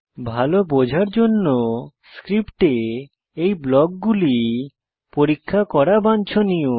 ভালো বোঝার জন্য স্ক্রিপ্টে এই ব্লকগুলি পরীক্ষা করা বাঞ্ছনীয়